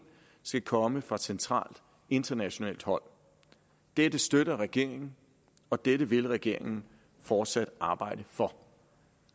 skal komme fra centralt internationalt hold det støtter regeringen og det vil regeringen fortsat arbejde for